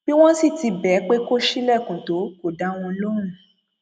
bí wọn sì ti bẹ ẹ pé kó ṣílẹkùn tó kó dá wọn lóhùn